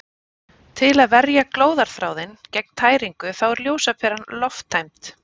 Til að verja glóðarþráðinn gegn tæringu þá er ljósaperan lofttæmd.